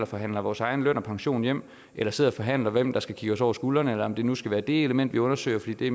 forhandler vores egen løn og pension hjem eller sidder og forhandler om hvem der skal kigge os over skuldrene eller om det nu skal være det element vi undersøger fordi det